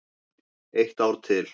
Eitt ár til.